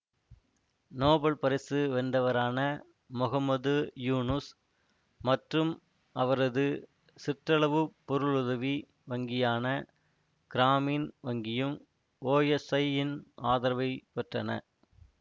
Nobel பரிசு வென்றவரான மொஹம்மது யூனுஸ் மற்றும் அவரது சிற்றளவு பொருளுதவி வங்கியான கிராமீன் வங்கியும் ஓஎஸ்ஐயின் ஆதரவை பெற்றன